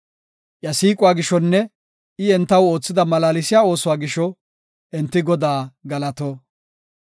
Iya siiquwa gishonne I entaw oothida malaalsiya oosuwa gisho enti Godaa galato.